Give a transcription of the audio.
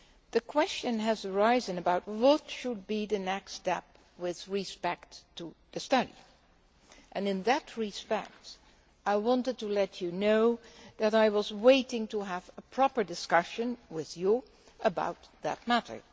The question has arisen about what should be the next step with respect to a study, and in that connection, I wanted to let you know that I was waiting to have a proper discussion with you about that matter.